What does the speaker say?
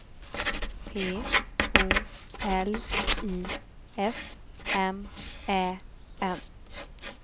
P O L I S M Ä N